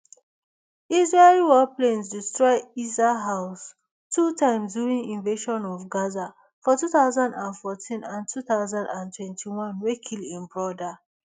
israeli warplanes destroy issa house two times during invasions of gaza for two thousand and fourteen and two thousand and twenty-one wey kill im broda